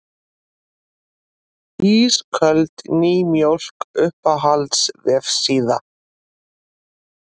Ísköld nýmjólk Uppáhalds vefsíða?